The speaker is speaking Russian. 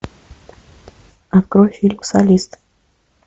открой фильм солист